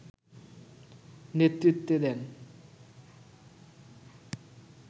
নেতৃত্বে দেন